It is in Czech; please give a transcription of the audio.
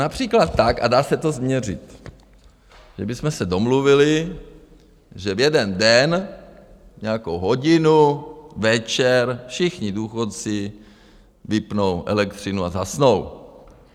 Například tak, a dá se to změřit, že bychom se domluvili, že v jeden den nějakou hodinu večer všichni důchodci vypnou elektřinu a zhasnou.